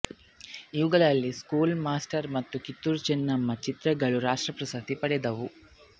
ಇವುಗಳಲ್ಲಿ school master ಮತ್ತು ಕಿತ್ತೂರು ಚೆನ್ನಮ್ಮ ಚಿತ್ರಗಳು ರಾಷ್ಟ್ರಪ್ರಶಸ್ತಿ ಪಡೆದವು